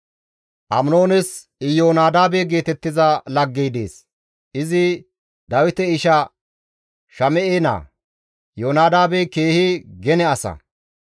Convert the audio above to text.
Aminoones Iyoonadaabe geetettiza laggey dees; izi Dawite isha Shame7e naa; Iyoonadaabey keehi gene asa.